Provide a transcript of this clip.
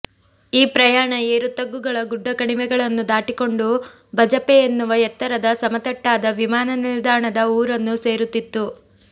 ಈ ಪ್ರಯಾಣ ಏರು ತಗ್ಗುಗಳ ಗುಡ್ಡ ಕಣಿವೆಗಳನ್ನು ದಾಟಿಕೊಂಡು ಬಜಪೆ ಎನ್ನುವ ಎತ್ತರದ ಸಮತಟ್ಟಾದ ವಿಮಾನ ನಿಲ್ದಾಣದ ಊರನ್ನು ಸೇರುತ್ತಿತ್ತು